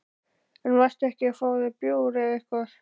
En varstu ekki að fá þér bjór eða eitthvað?